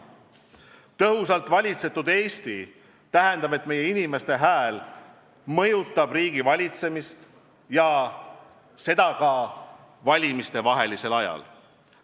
Tõhusalt valitsetud Eesti tähendab, et meie inimeste hääl mõjutab riigivalitsemist ja seda ka valimistevahelisel ajal.